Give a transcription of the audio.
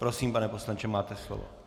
Prosím, pane poslanče, máte slovo.